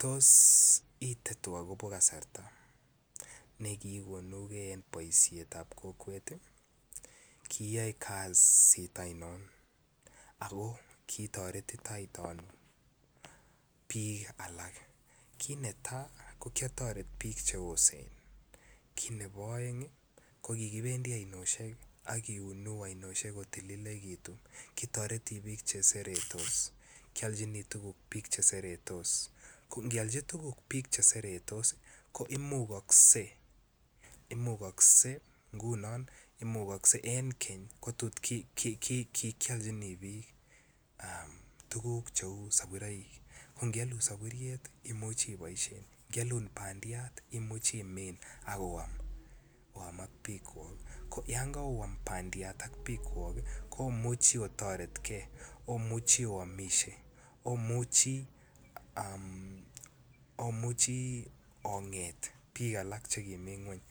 Tos itetwok kobo kasarta negikonugen boishet tab kokwet kiyoe kasit ainon ago kitoretitoiton ano ak bik alak kit netai ko kiotoret bik cheosen kit Nebo oeng KO kikibendi oinoshek akiunu ainoshek kotililikitun kitoreto bik cheseretos kioljini tuguk bik cheseretos KO ngiolji tukuk bik cheseretos KO imukokse ngunon imukokse en keny kikyoljini biktukuk cheu saburoik ko ngyolun saburiet imuch imuch ibaishen imuchi imin akoam ak bik Kwok yon karoam bandiat ak bik Kwok KO omuchi otoretkey omuvhi owomishe omuchi onget bik alak chekimi ngweny